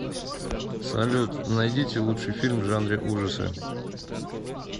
салют найдите лучший фильм в жанре ужасы